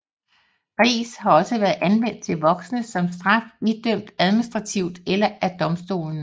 Ris har også været anvendt til voksne som straf idømt administrativt eller af domstolene